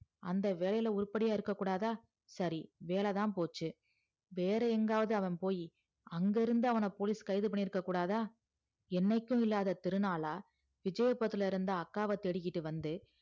அந்த வேலைல உருப்படியா இருக்க கூடாத சரி வேலைதா போச்சி வேற எங்கியாது அவன் போயி அங்க இருந்து அவன police கைது பண்ணிருக்ககூடாதா என்னைக்கு இல்லாத திருநாளா விஜயபத்துல இருந்து அக்காவ தேடிட்டு வந்து